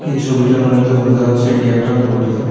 এই ছবিটার মদ্যে বোঝা যাচ্ছে এটি একটা হোটেল ।